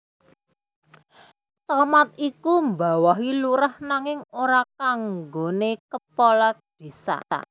Camat iku mbawahi Lurah nanging ora kanggoné Kepala Désa